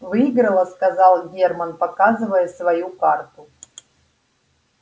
выиграла сказал германн показывая свою карту